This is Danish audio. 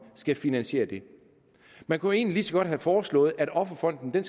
skal finansiere det man kunne egentlig lige så godt have foreslået at offerfonden